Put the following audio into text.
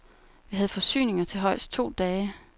Vi havde forsyninger til højst to dage.